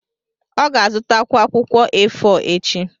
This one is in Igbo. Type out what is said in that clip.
ọ ga-azụtakwu akwụkwọ A4 echi.